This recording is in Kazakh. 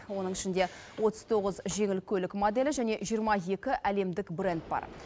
оның ішінде отыз тоғыз жеңіл көлік моделі және жиырма екі әлемдік бренд бар